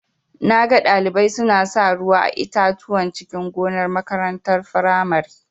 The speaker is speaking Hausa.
Naga Ɗalibai suna sa ruwa a itatuwan cikin gonar makarantar firamare.